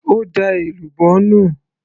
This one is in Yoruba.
ó da èlùbọ́ nù